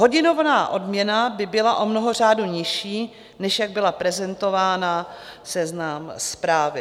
Hodinová odměna by byla o mnoho řádů nižší, než jak byla prezentována v Seznam Zprávy.